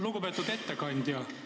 Lugupeetud ettekandja!